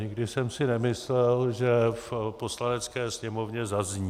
Nikdy jsem si nemyslel, že v Poslanecké sněmovně zazní.